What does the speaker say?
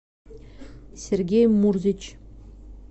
сергей мурзич